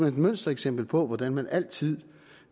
et mønstereksempel på hvordan man altid